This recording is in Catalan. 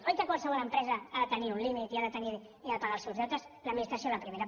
oi que qualsevol empresa ha de tenir un límit i ha de pagar els seus deutes l’administració la primera